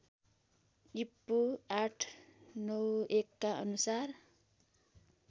ईपू ८९१ का अनुसार